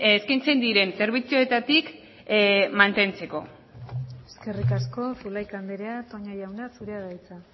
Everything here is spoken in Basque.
eskaintzen diren zerbitzuetatik mantentzeko eskerrik asko zulaika andrea toña jauna zurea da hitza